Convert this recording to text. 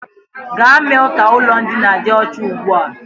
Gaa mee ka ụlọ ndina dị ọcha ugbu a!